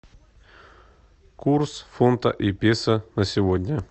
курс фунта и песо на сегодня